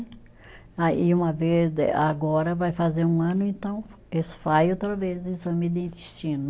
Ah e uma vez, agora vai fazer um ano, então eles faz outra vez o exame de intestino.